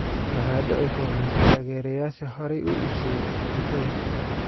Maxaa dhici doona taageerayaasha horey u iibsaday tigidhada?